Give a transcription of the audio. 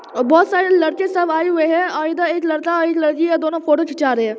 और बहुत सारे लड़के सब आए हुए हैं और इधर एक लड़का एक लड़की है दोनों फोटो खिरचा रहे हैं ।